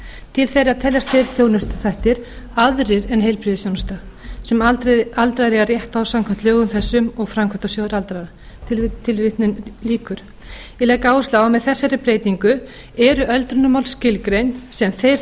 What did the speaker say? til þeirra teljast þeir þjónustuþættir aðrir en heilbrigðisþjónusta sem aldraðir eiga rétt á samkvæmt lögum þessum og framkvæmdasjóður aldraðra ég legg áherslu á að með þessari breytingu eru öldrunarmál skilgreind sem þeir